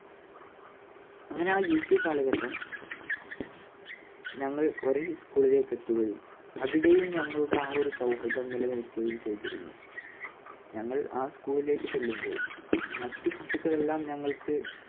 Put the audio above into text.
അങ്ങനെ ആ U P കാലഘട്ടം ഞങ്ങൾ ഒരേ school ിലേക്ക് എത്തുകയും അവിടെയും ഞങ്ങളുടെ ആ ഒരു സൗഹൃദം നിലനിൽക്കുകയും ചെയ്തിരുന്നു. ഞങ്ങൾ ആ സ്കൂളിലേക്ക് ചെല്ലുമ്പോൾ മറ്റ് കുട്ടികളെല്ലാം ഞങ്ങൾക്ക്